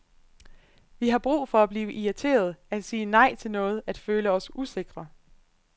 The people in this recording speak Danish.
Vi har brug for at blive irriterede, at sige nej til noget, at føle os usikre.